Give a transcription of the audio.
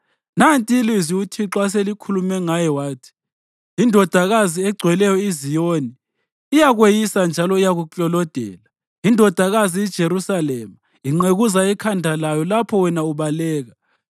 nanti ilizwi uThixo aselikhulume ngaye wathi: INdodakazi eGcweleyo iZiyoni iyakweyisa njalo iyakuklolodela. INdodakazi iJerusalema inqekuza ikhanda layo lapho wena ubaleka.